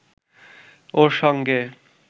ওর সঙ্গে